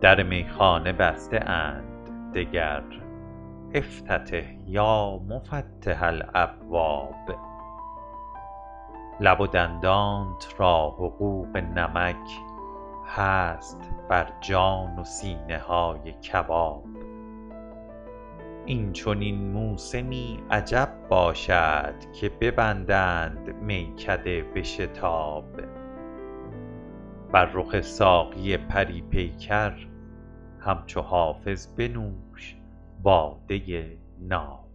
در میخانه بسته اند دگر افتتح یا مفتح الابواب لب و دندانت را حقوق نمک هست بر جان و سینه های کباب این چنین موسمی عجب باشد که ببندند میکده به شتاب بر رخ ساقی پری پیکر همچو حافظ بنوش باده ناب